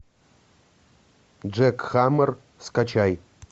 джек хаммер скачай